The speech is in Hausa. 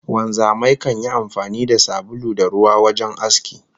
Wanzamai kan yi amfani da sabulu da ruwa wajen aski